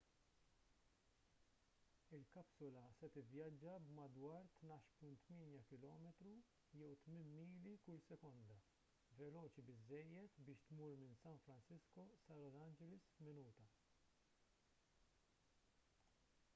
il-kapsula se tivvjaġġa b'madwar 12.8 km jew 8 mili kull sekonda veloċi biżżejjed biex tmur minn san francisco sa los angeles f'minuta